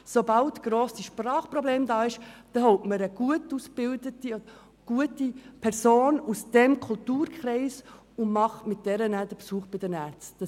Sobald grosse Sprachprobleme vorliegen, holt man eine gut ausgebildete Person aus diesem Kulturkreis, die den Besuch bei den Ärzten begleitet.